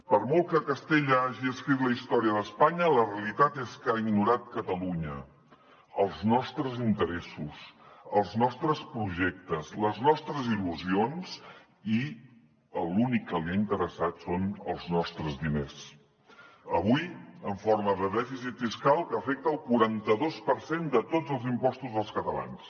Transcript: per molt que castella hagi escrit la història d’espanya la realitat és que ha ignorat catalunya els nostres interessos els nostres projectes les nostres il·lusions i l’únic que li ha interessat són els nostres diners avui en forma de dèficit fiscal que afecta el quaranta dos per cent de tots els impostos dels catalans